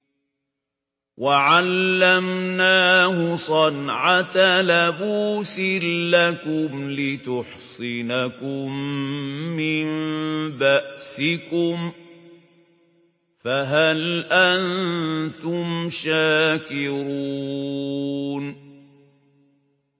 وَعَلَّمْنَاهُ صَنْعَةَ لَبُوسٍ لَّكُمْ لِتُحْصِنَكُم مِّن بَأْسِكُمْ ۖ فَهَلْ أَنتُمْ شَاكِرُونَ